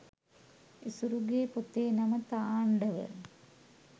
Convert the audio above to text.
ඉසුරුගේ පොතේ නම තාණ්ඩව